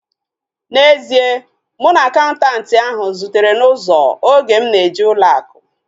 N'ezie, mụ na akaụntanti ahu zutere n'ụzọ oge m na-eje ụlọ akụ